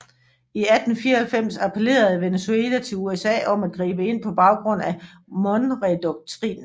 I 1894 appellerede Venezuela til USA om at gribe ind på baggrund af Monroedoktrinen